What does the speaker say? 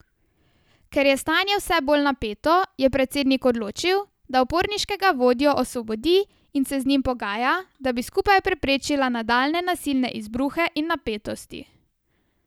Ker je stanje vse bolj napeto, je predsednik odločil, da uporniškega vodjo osvobodi in se z njim pogaja, da bi skupaj preprečila nadaljnje nasilne izbruhe in napetosti.